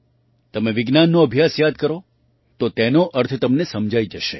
તમે વિજ્ઞાનનો અભ્યાસ યાદ કરો તો તેનો અર્થ તમને સમજાઈ જશે